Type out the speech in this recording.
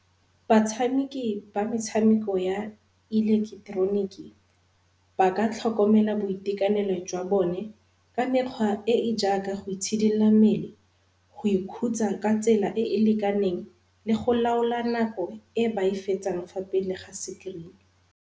Batshameki ba metshameko ya ileketeroniki ba ka tlhokomela boitekanelo jwa bone ka mekgwa e e jaaka go itshidila mmele, go ikhutsa ka tsela e e lekaneng le go laola nako e ba e fetsang fa pele ga screen-e.